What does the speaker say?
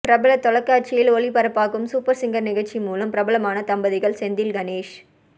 பிரபல தொலைக்காட்சியில் ஒளிபரப்பாகும் சூப்பர் சிங்கர் நிகழ்ச்சி மூலம் பிரபலமான தம்பதிகள் செந்தில் கணேஷ்